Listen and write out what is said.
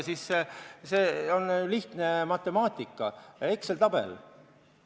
See on lihtne matemaatika, Exceli tabel.